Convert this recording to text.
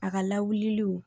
A ka lawuli